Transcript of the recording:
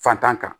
Fantan kan